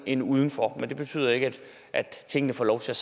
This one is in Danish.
end uden for men det betyder ikke at tingene får lov til